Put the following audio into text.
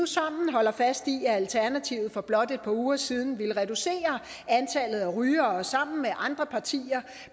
sammen holde fast i at alternativet for blot et par uger siden ville reducere antallet af rygere og sammen med andre partier